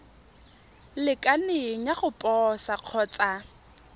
lekaneng ya go posa kgotsa